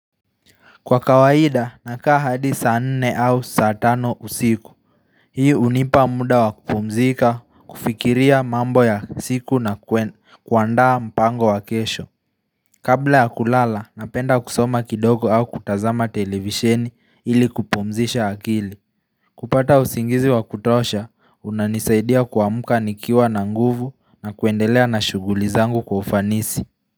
Kwa kawaida nakaa hadi saanne au saatano usiku Hiih unipa muda wakupumzika kufikiria mambo ya siku na kuandaa mpango wakesho Kabla ya kulala napenda kusoma kidogo au kutazama televisheni ili kupumzisha akili kupata usingizi wakutosha unanisaidia kuamka nikiwa na nguvu na kuendelea na shughuli zangu kwa ufanisi.